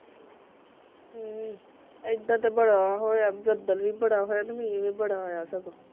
ਹੁ ਏਧਰ ਤਾਂ ਬੜਾ ਹੋਇਆ ਬਦਲ ਵੀ ਬੜਾ ਹੋ ਆ ਤੇ ਮੀਂਹ ਵੀ ਬੜਾ ਆਇਆ ਸਗੋਂ